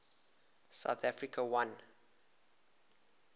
south africa won